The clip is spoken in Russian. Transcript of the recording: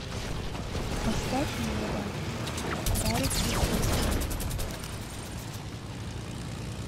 поставь мода гарик кричевский